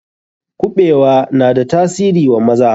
Kuɓewa na da tasiri wa maza.